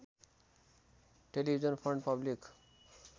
television fund public